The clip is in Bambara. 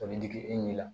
O bɛ digi e ɲɛ la